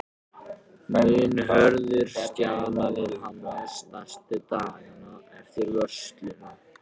Mun Hörður stjana við Hannes næstu dagana eftir vörsluna?